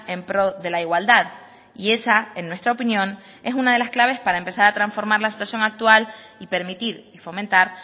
en pro de la igualdad y esa en nuestra opinión es una de las claves para empezar a transformar la situación actual y permitir y fomentar